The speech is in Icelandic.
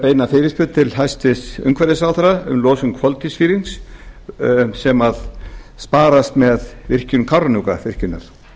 beina fyrirspurn til hæstvirts umhverfisráðherra um losun koltvísýrings sem sparast með virkjun kárahnjúkavirkjunar